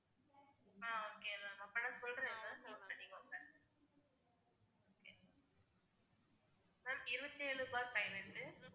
ஆஹ் okay ma'am அப்பன்னா சொல்றேன் ma'am note பண்ணிக்கோங்க ma'am இருவத்தி ஏழு bar பதினெட்டு